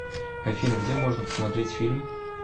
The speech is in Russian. афина где можно посмотреть фильм